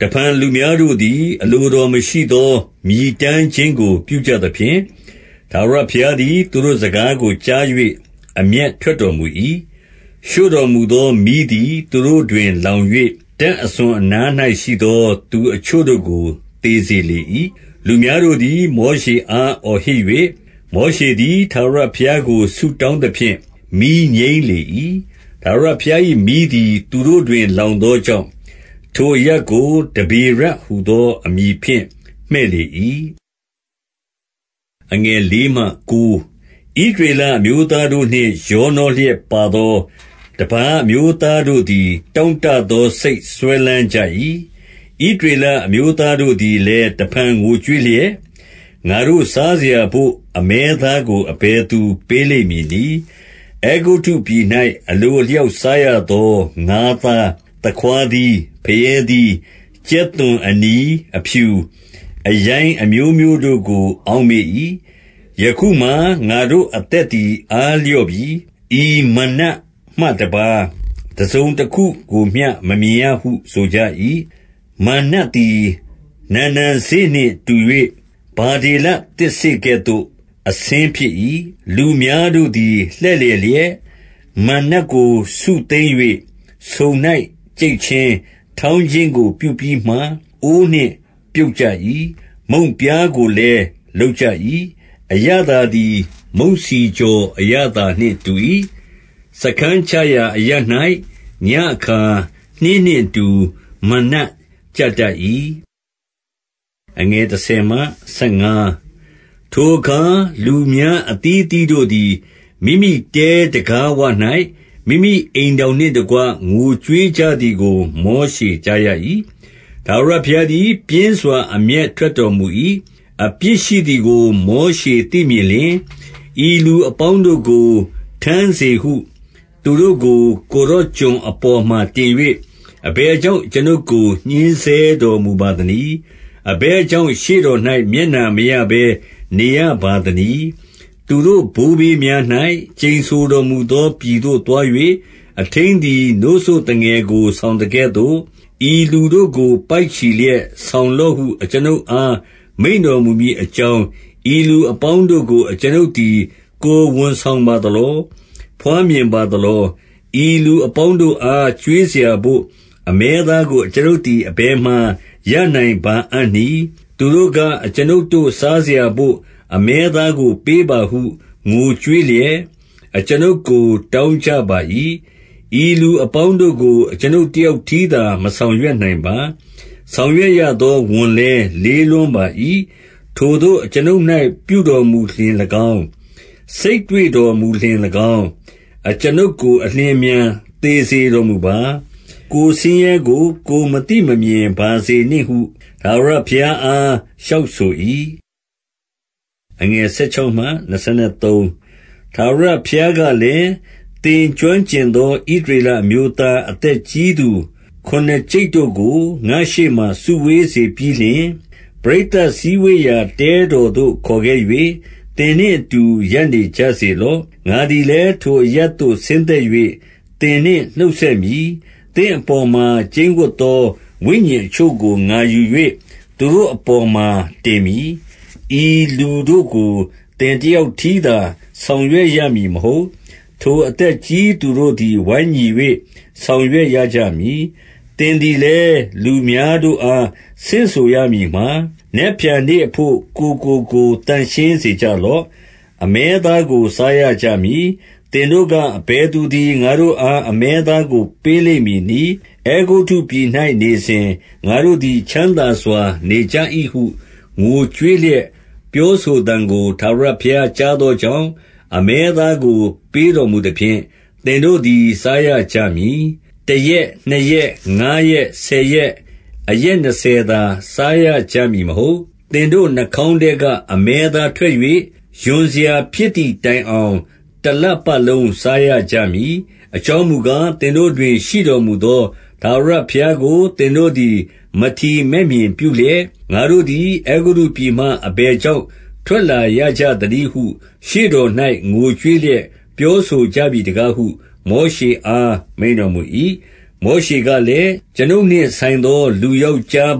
တဖန်လူများတို့သည် အလိုတော်မရှိသော မြည်တမ်းခြင်းကို ပြုကြသဖြင့်၊ ထာဝရဘုရားတို့သည် သူတို့ စကားကိုကြား၍ အမျက်ထွက်တော်မူ၏။ ရှို့တော်မူသောမီးသည် သူတို့တွင်လောင်၍ တပ်အစွန်အနား၌ ရှိသော သူအချို့တို့ကို သေစေလေ၏။ 2 လူများတို့သည် မောရှေအား အော်ဟစ်၍၊ မောရှေသည် ထာဝရဘုရားကို ဆုတောင်းသဖြင့် မီးငြိမ်း လေ၏။ 3 ထာဝရဘုရား၏ မီးသည် သူတို့တွင် လောင် သောကြောင့် ထိုအရပ်ကို တဗေရဟုသောအမည်ဖြင့် မှည့်လေ၏။ 4 ဣသရေလအမျိုးသားတို့နှင့် ရောနှောလျက် ပါသော တပါးအမျိုးသားတို့သည် တောင့်တသော စိတ်စွဲ လမ်းကြ၏။ ဣသရေလအမျိုးသားတို့သည်လည်း တဖန်ငိုကြွေးလျက် ငါတို့စားစရာဘို့ အမဲသားကို အဘယ်သူပေးလိမ့်မည်နည်း။ 5 အဲဂုတ္တုပြည်၌ အလိုအလျောက်စားရသော ငါးသား၊ သခွါးသီး၊ ဖရဲသီး၊ ကြက်သွန်၊ အနီ၊ အဖြူ၊ အရိုင်းအမျိုးမျိုးတို့ကို အောက်မေ့၏။ 6 ယခုမှာ ငါတို့အသက်သည် အားလျော့ပြီ။ ဤမန္နမှတပါး တစုံတခုကိုမျှ မမြင်ရဟုဆိုကြ၏။ 7 မန္နသည် နံနံစေ့နှင့်တူ၍ ဗဓေလသစ်စေ့ကဲ့သို့ အဆင်းဖြစ်၏။ 8 လူများတို့သည်လှည့်လည်လျက် မန္နကိုစုသိမ်း၍ ဆုံ၌ကြိတ်ခြင်း၊ ထောင်းခြင်းကိုပြုပြီးမှ အိုးနှင့် ပြုတ်ကြ၏။ မုန့်ပြားကိုလည်း လုပ်ကြ၏။ အရသာသည် မုန့်ဆီကြော် အရသာနှင့်တူ၏။ 9 စားခန်းချရာအရပ်၌ ညဉ့်အခါနှင်းနှင့်အတူ မနက်ကျတတ်၏။ 10 ထိုအခါလူများအသီးအသီးတို့သည် မိမိတဲတံခါး ဝ၌ မိမိအိမ်ထောင်နှင့်တကွ ငိုကြွေးကြသည်ကို မောရှေကြားရ၏။ ထာဝရဘုရားသည် ပြင်းစွာ အမျက် ထွက်တော်မူ၏။ အပြစ်ရှိသည်ကို မောရှေသိမြင်လျှင်၊ 11 ဤလူအပေါင်းတို့ကို ထမ်းစေဟု သူတို့ကို ကိုယ်တော်ကျွန်အပေါ်မှာ တင်၍ အဘယ်ကြောင့် အကျွန်ုပ် ကို ညှဉ်းဆဲတော်မူပါသနည်း။ အဘယ်ကြောင့် ရှေ့တော်၌ မျက်နှာမရဘဲ နေရပါသနည်း။ 12 သူတို့ဘိုးဘေးများ၌ ကျိန်ဆိုတော်မူသော ပြည်သို့သွား၍၊ အထိန်းသည် နို့စို့သူငယ်ကိုဆောင်သကဲ့သို့ ဤလူတို့ကို ပိုက်ချီလျက်ဆောင်လော့ဟု အကျွန်ုပ်အား မိန့်တော်မူမည်အကြောင်း၊ ဤလူအပေါင်းတို့ကို အကျွန်ုပ် သည် ကိုယ်ဝန်ဆောင်ပါသလော။ ဘွားမြင်ပါသလော။ 13 ဤလူအပေါင်းတို့အား ကျွေးစရာဘို့ အမဲသားကို အကျွန်ုပ်သည် အဘယ်မှာရနိုင်ပါအံ့နည်း။ သူတို့က အကျွန်ုပ်တို့ စားစရာဘို့ အမဲသားကိုပေးပါဟု ငိုကြွေးလျက် အကျွန်ုပ်ကိုတောင်းကြပါ၏။ 14 ဤလူအပေါင်းတို့ကို အကျွန်ုပ်တယောက်တည်းသာ မဆောင်ရွက်နိုင်ပါ။ ဆောင်ရွက်ရသော ဝန်လည်း လေးလွန်းပါ၏။ 15 ထိုသို့အကျွန်ုပ်၌ ပြုတော်မူလျှင်၎င်း၊ စိတ်တွေ့တော်မူလျှင်၎င်း၊ အကျွန်ုပ်ကိုအလျင်အမြန် သေစေတော် မူပါ။ ကိုယ်ဆင်းရဲကို ကိုယ်မသိမမြင်ပါစေနှင့်ဟု ဘုရားအား လျှောက်ဆို၏။ 16 ထာဝရဘုရားကလည်း၊ သင်ကျွမ်းကျင်သော ဣသရေလအမျိုးသား အသက်ကြီးခုနစ်ကျိပ်တို့ကို ငါ့ရှေ့မှာ စုဝေးစေပြီးလျှင်၊ ပရိသတ်စည်းဝေးရာ တဲတော် သို့ ခေါ်ခဲ့၍ သင်နှင့်အတူ ရပ်နေကြစေလော့။ 17 ငါသည်လည်း ထိုအရပ်သို့ ဆင်းသက်၍ သင်နှင့်နှုတ်ဆက်မည်။ သင့်အပေါ်မှာ ကျိန်းဝပ်သော ဝိညာဉ်အချို့ကို ငါယူ၍ သူတို့အပေါ်မှာ တင်မည်။ ဤလူ တို့ကို သင်တယောက်တည်းသာ ဆောင်ရွက်ရမည် မဟုတ်၊ ထိုအသက်ကြီးသူတို့သည် ဝိုင်းညီ၍ ဆောင်ရွက် ရကြမည်။ 18 သင်သည်လည်း လူများတို့အားဆင့်ဆိုရမည်မှာ၊ နက်ဖြန်နေ့အဘို့ ကိုယ်ကိုသန့်ရှင်းစင်ကြယ်လော့။ အမဲ သားကိုစားရကြမည်။ သင်တို့က အဘယ်သူသည် ငါတို့ အား အမဲသားကို ပေးလိမ့်မည်နည်း။ အဲဂုတ္တုပြည်၌ နေစဉ်၊ ငါတို့သည် ချမ်းသာစွာနေကြ၏ဟု ငိုကြွေးလျက် ပြောဆိုသံကို ထာဝရဘုရားကြားသောကြောင့်၊ အမဲသား ကို ပေးတော်မူသဖြင့် သင်တို့သည် စားရကြမည်။ 19 တရက်၊ နှစ်ရက်၊ ငါးရက်၊ ဆယ်ရက်၊ အရက် နှစ်ဆယ်သာ စားရကြမည်မဟုတ်။ 20 သင်တို့နှာခေါင်းထဲက အမဲသားထွက်၍ ရွံစရာ ဖြစ်သည်တိုင်အောင် တလပတ်လုံး စားရကြမည်။ အကြောင်းမူကား၊ သင်တို့တွင်ရှိတော်မူသော ထာဝရ ဘုရားကို၊ သင်တို့သည် မထီမဲ့မြင်ပြုလျက်၊ ငါတို့သည် အဲဂုတ္တုပြည်မှ အဘယ်ကြောင့် ထွက်လာရာကြသနည်းဟု ရှေ့တော်၌ ငိုကြွေးလျက် ပြောဆိုကြပြီ တကားဟု မောရှေအား မိန့်တော်မူ၏။ 21 မောရှေကလည်း၊ အကျွန်ုပ်နှင့် ဆိုင်သော လူယောက်ျားအ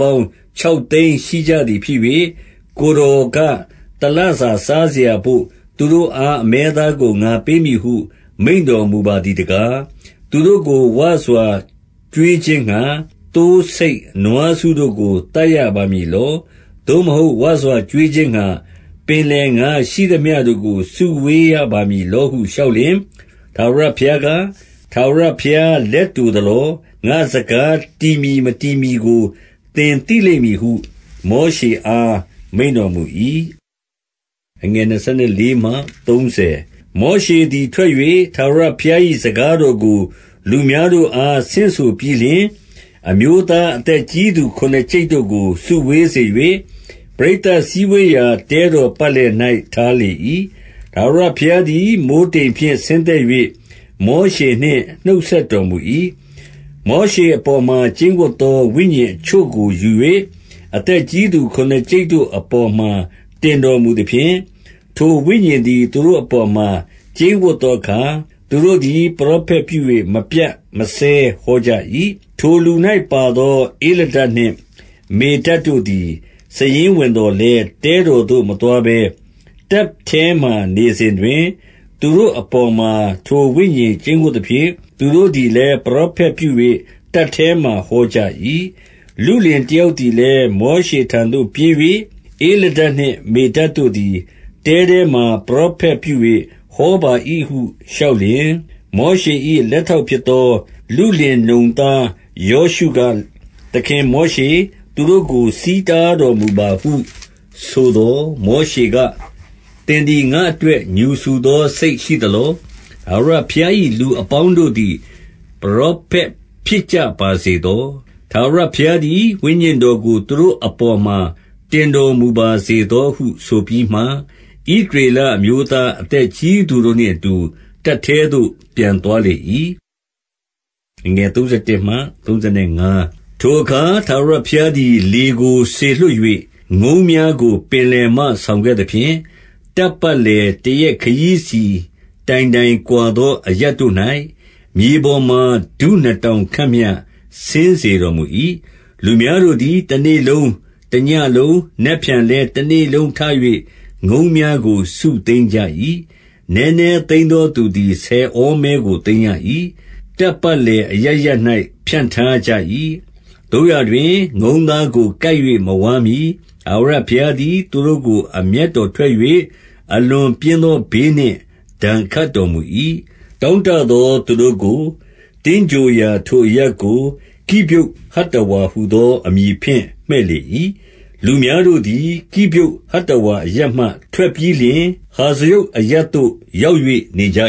ပေါင်း ခြောက်သိန်းရှိကြသည်ဖြစ်၍ ကိုယ်တော်က တလစားစရာဘို့ သူတို့အား အမဲသားကို ငါပေးမည်ဟု မိန့်တော်မူပါသည်တကား၊ 22 သူတို့ကို ဝစွာကျွေးခြင်းငှါ၊ သိုးဆိတ်နွားစုတို့ကို သတ်ရပါမည်လော။ သို့မဟုတ် ဝစွာကျွေးခြင်းငှါ၊ ပင်လယ်ငါးရှိသမျှ တို့ကိုစုဝေးရပါမည်လောဟု လျှောက် လျှင်၊ 23 ထာဝရဘုရားက ထာဝရဘုရား လက်တို သလော။ ငါ့စကား တည်မည် မတည်မည်ကို သင်သိလိမ့် မည်ဟု မောရှေအား မိန့်တော်မူ၏။ 24 မောရှေသည် ထွက်၍ ထာဝရဘုရား၏ စကား တော်ကို လူများတို့အား ဆင့်ဆိုပြီးလျှင် အမျိုးသား၊ အသက်ကြီးသူခုနစ်ကျိပ်တို့ကို စုဝေးစေ၍၊ ပရိသတ် စည်းဝေးရာ တဲတော်ပတ်လည်၌ ထားလေ၏။ 25 ထာဝရဘုရားသည် မိုဃ်းတိမ်ဖြင့် ဆင်းသက်၍ မောရှေနှင့် နှုတ်ဆက်တော်မူ၏။ မောရှေအပေါ်မှာ ကျိန်းဝပ်သော ဝိညာဉ်အချို့ကို ယူ၍ အသက်ကြီးသူ ခုနစ်ကျိပ်တို့အပေါ်မှာ တင်တော်မူသဖြင့်၊ထိုဝိညာဉ်သည် သူတို့အပေါ်မှာ ကျိန်းဝပ်သောအခါ၊ သူတို့သည် ပရောဖက်ပြု၍ မပြတ်မစဲဟောကြ၏။ 26 ထိုလူစု၌ ပါသောသူ ဧလဒဒ်နှင့် မေဒဒ်တို့သည် စာရင်းဝင်သော်လည်း၊ တဲတော်သို့မသွားဘဲ တပ်ထဲမှာ နေရစ်စဉ်တွင် သူတို့အပေါ်မှာ ထိုဝိညာဉ်ကျိန်းဝပ်သဖြင့် သူတို့သည်လည်း ပရောဖက်ပြု၍ တပ်ထဲမှာ ဟောကြ၏။ 27 လုလင်တယောက်သည်လည်း မောရှေထံသို့ ပြေး၍၊ ဧလဒဒ်နှင့် မေဒဒ်တို့သည် တပ်ထဲမှာ ပရောဖက် ပြု၍ဟောပါ၏ဟု လျှောက်လျှင်၊ 28 မောရှေ၏ လက်ထောက်ဖြစ်သော လုလင်နုန် သား ယောရှုက၊ သခင်မောရှေ၊ သူတို့ကို ဆီးတားတော်မူ ပါဟုဆိုသော်၊ 29 မောရှေက၊ သင်သည် ငါ့အတွက် ငြူစူသော စိတ်ရှိသလော။ ထာဝရဘုရား၏ လူအပေါင်းတို့သည် ပရောဖက်ဖြစ်ကြပါစေသော။ ထာဝရဘုရားသည် ဝိညာဉ်တော်ကို သူတို့အပေါ်မှာ တင်တော်မူပါစေသောဟု ဆိုပြီးမှ၊ 30 ဣသရေလ အမျိုးသားအသက်ကြီးသူတို့နှင့် အတူ တပ်ထဲသို့ ပြန်သွားလေ၏။ 31 ထိုအခါ ထာဝရဘုရားသည် လေကိုစေလွှတ်၍၊ ငုံးများကို ပင်လယ်မှ ဆောင်ခဲ့သဖြင့်၊ တပ်ပတ်လည် တရက်ခရီးစီတိုင်တိုင်ကွာသော အရပ်တို့၌၊ မြေပေါ်မှာ ဒုနှစ်တောင်ခန့်မျှ ဆင်းစေတော်မူ၏။ 32 လူများတို့သည် တနေ့လုံး၊ တညဉ့်လုံး၊ နက်ဖြန် လည်း တနေ့လုံးထ၍ ငုံးများကို စုသိမ်းကြ၏။ နည်းနည်း သိမ်းသော သူသည် ဆယ်ဟောမဲကို သိမ်းရ၏။ တပ်ပတ် လည်အရပ်ရပ်၌ ဖြန့်ထားကြ၏။ 33 သို့ရာတွင် ငုံးသားကို ကိုက်၍ မဝါးမှီ၊ ထာဝရ ဘုရားသည် သူတို့ကို အမျက်တော်ထွက်၍ အလွန်ပြင်း သော ဘေးနှင့်ဒဏ်ခတ်တော်မူ၏။ 34 တောင့်တသောသူတို့ကို သင်္ဂြိုဟ်ရာထိုအရပ်ကို ကိဗြုတ်သတ္တဝါဟူသော အမည်ဖြင့် မှည့်လေ၏။ 35 လူများတို့သည် ကိဗြုဟ်ဟတ္တဝါအရပ်မှ ထွက် ပြီးလျှင်၊ ဟာဇရုတ်အရပ်သို့ ရောက်၍နေကြ